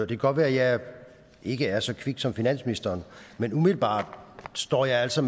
kan godt være at jeg ikke er så kvik som finansministeren men umiddelbart står jeg altså